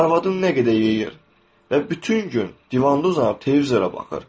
Arvadım nə qədər yeyir və bütün gün divanda uzanıb televizora baxır.